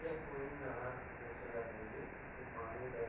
यह कोई नहर जैसी लग रही है। इसको पानी बह --